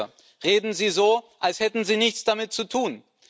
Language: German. Auch heute reden sie so, als hätten sie nichts damit zu tun.